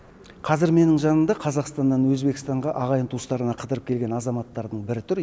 қазір менің жанымда қазақстаннан өзбекстанға ағайын туыстарына қыдырып келген азаматтардың бірі тұр